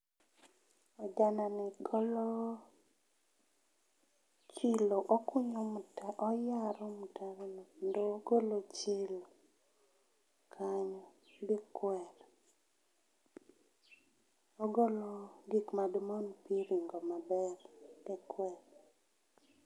Ojanani golo chilo okunyo mtaro oyaro mtaro kendo ogolo chilo kanyo gi kwer. Ogolo gik madi mon pi ringo maber gi kwer